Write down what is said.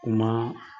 U ma